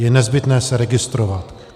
Je nezbytné se registrovat.